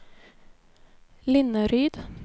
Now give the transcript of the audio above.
Linneryd